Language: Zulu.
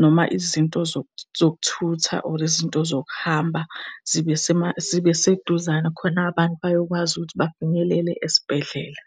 noma izinto zokuthutha, or izinto zokuhamba zibe zibe seduzane khona abantu bayokwazi ukuthi bafinyelele esibhedlela.